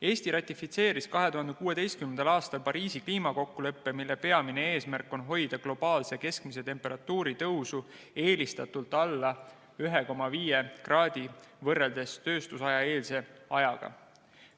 Eesti ratifitseeris 2016. aastal Pariisi kliimakokkuleppe, mille peamine eesmärk on hoida globaalse keskmise temperatuuri tõusu eelistatult alla 1,5 kraadi võrreldes tööstuseelse ajaga.